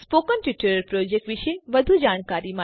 spoken tutorial project વિશે વધુ જાણકારી માટે